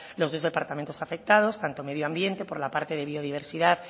los dos departamentos afectados tanto medio ambiente por la parte de biodiversidad